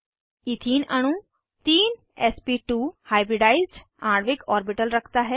ethene अणु तीन SP two hybridised आणविक ऑर्बिटल रखता है